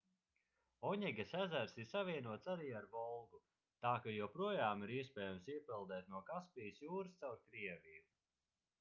oņegas ezers ir savienots arī ar volgu tā ka joprojām ir iespējams iepeldēt no kaspijas jūras caur krieviju